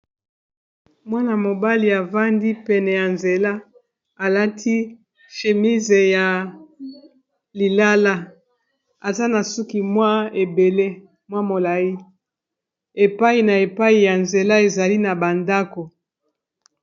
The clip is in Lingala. Mwana-mobali avandi pene ya nzela alati shemise ya lilala, aza na suki mwa ebele mwa molai epai na epai ya nzela ezali na bandako.